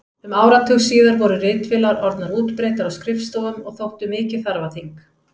Um áratug síðar voru ritvélar orðnar útbreiddar á skrifstofum og þóttu mikið þarfaþing.